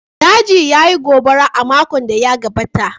Dajin ya yi gobara a makon da ya gabata